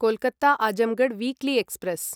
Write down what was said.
Kolkata Azamgarh weekly express